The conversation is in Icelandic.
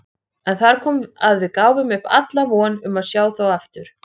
En þar kom að við gáfum upp alla von um að sjá þá aftur.